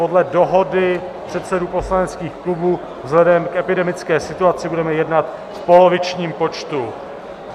Podle dohody předsedů poslaneckých klubů vzhledem k epidemické situaci budeme jednat v polovičním počtu.